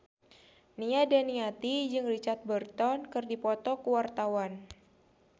Nia Daniati jeung Richard Burton keur dipoto ku wartawan